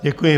Děkuji.